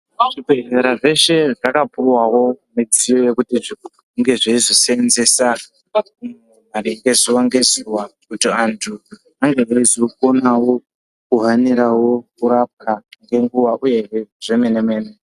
Zvibhedhera zveshe zvakapuwawo midziyo yekuti zvinge zveizoseenzesawo zuva ngezuva kuti antu ange eizokonawo kuhanirawo kurapwa ngenguwa uyehe zvemene-mene.